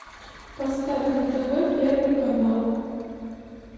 поставь на тв первый канал